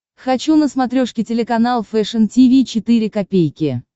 хочу на смотрешке телеканал фэшн ти ви четыре ка